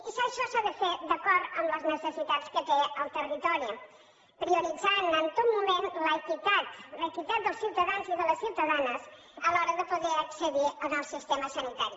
i això s’ha de fer d’acord amb les necessitats que té el territori prioritzant en tot moment l’equitat l’equitat dels ciutadans i de les ciutadanes a l’hora de poder accedir al sistema sanitari